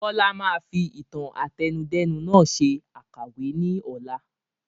Bọlá máa fi ìtàn àtẹnudẹ́nu nàá ṣe àkàwé ni ọ̀la